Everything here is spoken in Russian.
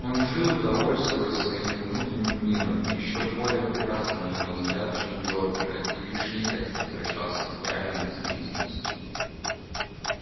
он жил довольствуясь своими внутренним миром ещё более прекрасным на его взгляд чем джорджия и лишь нехотя возвращался к реальной действительности